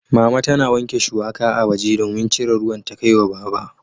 Mama tana wanke shuwaka a waje domin cire ruwan ta kai wa Baba.